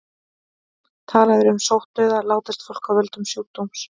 Talað er um sóttdauða látist fólk af völdum sjúkdóms.